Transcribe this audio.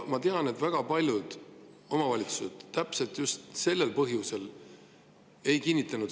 Ma tean, et just sel põhjusel väga paljud omavalitsused seda kokkulepet ei kinnitanud.